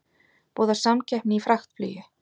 Boðar samkeppni í fraktflugi